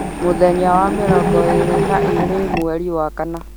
mũthenya wa mĩrongo ĩĩrĩ na ĩĩrĩ mweri wa kana